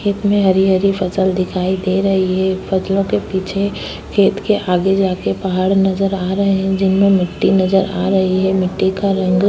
खेत में हरी-हरी फसल दिखाई दे रही है। फसलों के पीछे खेत के आगे जाके पहाड़ नजर आ रहा है जिनमें मिट्टी नजर आ रही है। मिट्टी का रंग --